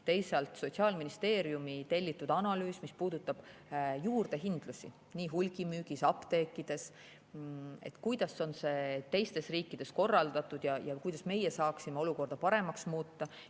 Teisalt on Sotsiaalministeeriumi tellitud analüüs, mis puudutab juurdehindlusi nii hulgimüügis kui ka apteekides, kuidas on see teistes riikides korraldatud ja kuidas meie saaksime olukorda paremaks muuta.